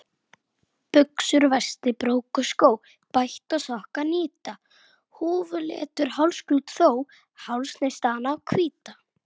Sign, Skátar og Sykur.